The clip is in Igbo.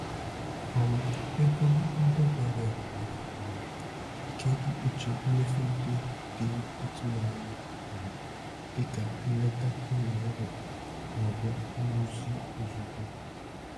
um Ego ndabere nwere um ike ikpuchi mmefu ndị dị ịtụnanya um dịka nleta ụlọ ọgwụ maọbụ nrụzi ozugbo.